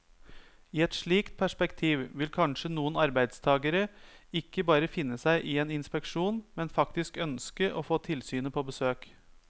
I et slikt perspektiv vil kanskje noen arbeidstagere ikke bare finne seg i en inspeksjon, men faktisk ønske å få tilsynet på besøk.